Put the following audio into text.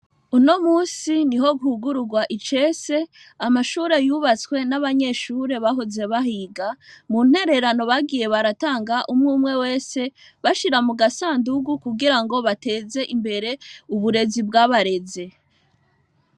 Unomusi niho hugururwa icese amashure yubatswe n'abanyeshure bahoze bahiga muntererano bagiye baratanga umwe wese bashira mugasandugu kugira bateze imbere uburezi bwabareze.